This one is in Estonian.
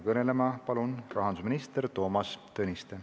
Kõnelema palun rahandusminister Toomas Tõniste.